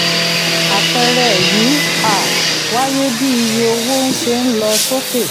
apẹẹrẹ yìí um wáyé bí iye owó ṣe ń lọ sókè